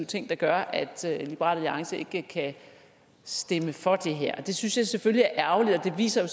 ting der gør at liberal alliance ikke kan stemme for det her og det synes jeg selvfølgelig er ærgerligt det viser